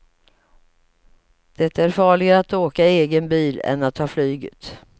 Det är farligare att åka i egen bil än att ta flyget.